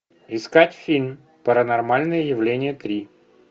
искать фильм паранормальное явление три